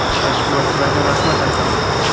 Tashkilotchilarga rahmat aytaman.